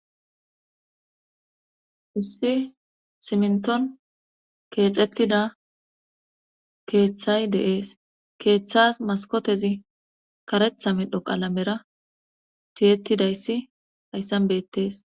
Issi simnton keexettida keeththay deees keeththas maskotezi karetha midho qalamera tiyettidayssi hayssan bettes